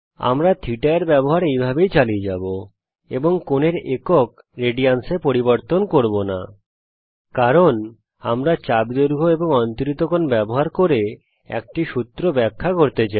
আমরা θ র ব্যবহার এই ভাবেই চালিয়ে যাবো এবং কোণের একক রেডিয়ানস এ পরিবর্তন করব না কারণ আমরা চাপ দৈর্ঘ্য এবং অন্তরিত কোণ ব্যবহার করে একটি সূত্র ব্যাখ্যা করতে চাই